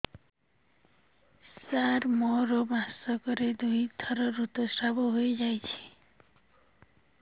ସାର ମୋର ମାସକରେ ଦୁଇଥର ଋତୁସ୍ରାବ ହୋଇଯାଉଛି